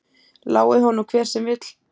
Lái honum hver sem vill.